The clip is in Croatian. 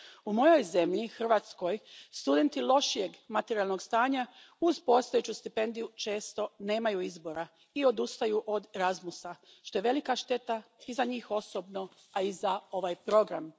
U mojoj zemlji, Hrvatskoj, studenti lošijeg materijalnog stanja uz postojeću stipendiju često nemaju izbora i odustaju od Erasmusa, što je velika šteta i za njih osobno, a i za ovaj program.